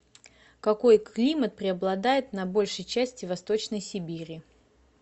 какой климат преобладает на большей части восточной сибири